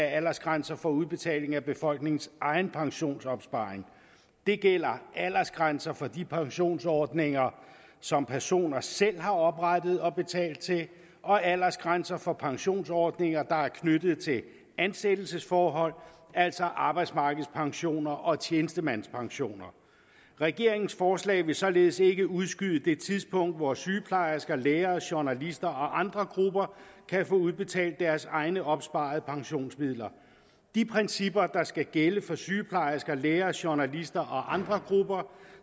aldersgrænser for udbetaling af befolkningens egenpensionsopsparing det gælder aldersgrænser for de pensionsordninger som personer selv har oprettet og betalt til og aldersgrænser for pensionsordninger der er knyttet til ansættelsesforhold altså arbejdsmarkedspensioner og tjenestemandspensioner regeringens forslag vil således ikke udskyde det tidspunkt hvor sygeplejersker læger journalister og andre grupper kan få udbetalt deres egne opsparede pensionsmidler de principper der skal gælde for sygeplejersker læger journalister og andre grupper